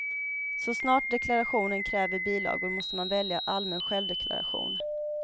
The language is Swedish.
Så snart deklarationen kräver bilagor måste man välja allmän självdeklaration.